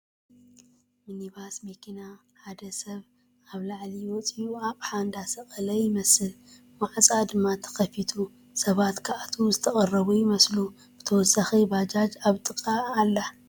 ምኒባስ መኪና ሓደ ሰብ ኣብ ላዕሊ ወፂኡ ኣቕሓ እንዳሰቐለ ይመስል ፡ ማዕፆኣ ድማ ተኸፊቱ ሰባት ክኣትዉ ዝተቐረቡ ይመስሉ ፡ ብተወሳኺ ባጃጅ ኣብ ጥቐኣ ኣላ ።